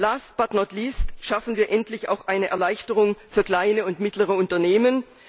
Last but not least schaffen wir endlich auch eine Erleichterung für kleine und mittlere Unternehmen.